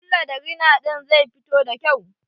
Ƙulla da rina ɗin zai fito da kyau.